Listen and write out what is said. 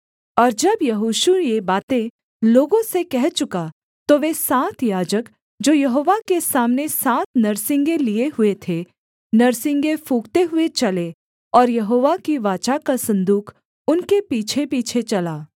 और जब यहोशू ये बातें लोगों से कह चुका तो वे सात याजक जो यहोवा के सामने सात नरसिंगे लिए हुए थे नरसिंगे फूँकते हुए चले और यहोवा की वाचा का सन्दूक उनके पीछेपीछे चला